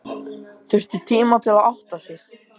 Þurfti tíma til að átta sig.